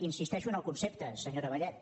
insisteixo en el concepte senyora vallet